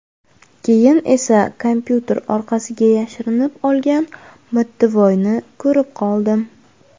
Keyin esa kompyuter orqasiga yashirinib olgan mittivoyni ko‘rib qoldim”.